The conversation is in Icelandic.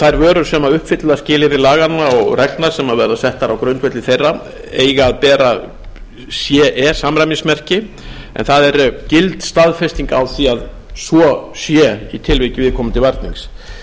þær vörur sem uppfylla skilyrði laganna og reglna sem verða settar á grundvelli þeirra eiga að bera ce samræmismerkingu en það er gild staðfesting á því að svo sé í tilviki viðkomandi varnings